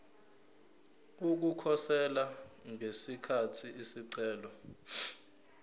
ukukhosela ngesikhathi isicelo